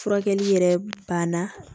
Furakɛli yɛrɛ banna